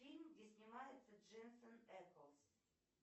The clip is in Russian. фильм где снимается дженсен эклз